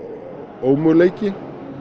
ómöguleiki